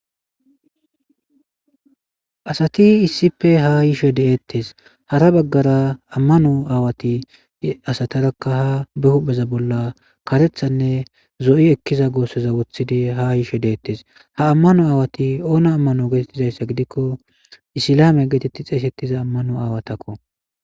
Asati issippe ha yishe deettes hara baggara ammano aawati asatarakka ha be hupheza bolla karethanne zo'i ekkiza goosseza wothidi ha yishe deettes ha ammano aawati oona ammano geetettizayssa gidikko isilame geetetti xeesettiza ammano aawatakko